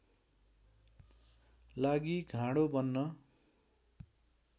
लागि घाँडो बन्न